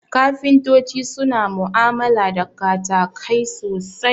Kafintoti suna mu'amala da katakai sosai